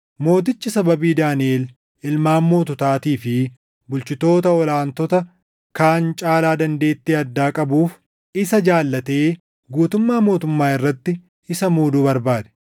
Mootichi sababii Daaniʼel ilmaan moototaatii fi bulchitoota ol aantota kaan caalaa dandeettii addaa qabuuf isa jaallatee guutummaa mootummaa irratti isa muuduu barbaade.